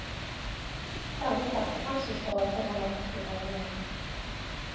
Særlig platebransjen står overfor dramatiske forandringer.